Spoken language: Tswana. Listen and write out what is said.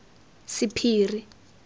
sephiri